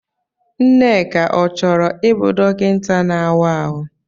Nneka ọ chọrọ ịbụ dọkịta na-áwá ahụ?